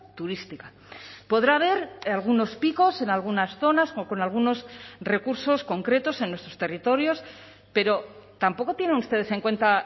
turística podrá haber algunos picos en algunas zonas con algunos recursos concretos en nuestros territorios pero tampoco tienen ustedes en cuenta